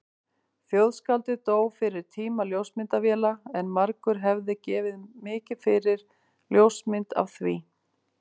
Þjóðskáldið dó fyrir tíma ljósmyndavéla en margur hefði gefið mikið fyrir ljósmynd af því.